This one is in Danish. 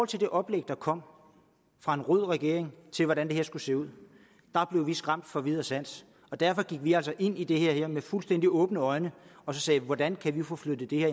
til det oplæg der kom fra en rød regering til hvordan det her skulle se ud blev vi skræmt fra vid og sans og derfor gik vi altså ind i det her med fuldstændig åbne øjne og sagde hvordan kan vi få flyttet det her